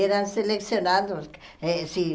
Eram selecionados. Eh se